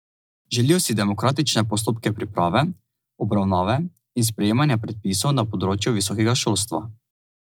Želijo si demokratične postopke priprave, obravnave in sprejemanja predpisov na področju visokega šolstva.